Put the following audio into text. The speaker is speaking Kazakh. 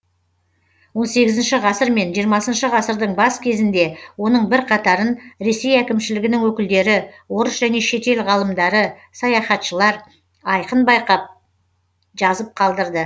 он сегізінші ғасыр мен жиырмасыншы ғасырдың бас кезінде оның бірқатарын ресей әкімшілігінің өкілдері орыс және шетел ғалымдары саяхатшылар айқын байқап жазып қалдырды